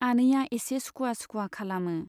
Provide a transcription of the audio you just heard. आनैया एसे सुखुवा सुखुवा खालामो।